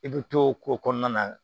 I bɛ to o ko kɔnɔna na